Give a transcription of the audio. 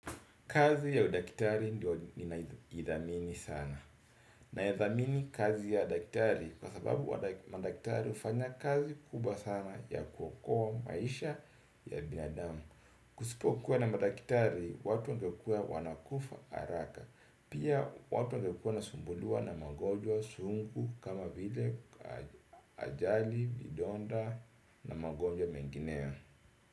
Kazi ya udaktari ndio ninaithamini sana. Naithamini kazi ya udaktari kwa sababu udaktari hufanya kazi kubwa sana ya kuokoa maisha ya binadamu. Kusipokuwa na madaktari, watu wangekuwa wanakufa haraka. Pia watu wangekuwa wanasumbuliwa na mangonjwa sungu kama vile ajali, vidonda na magonjwa mengineyo.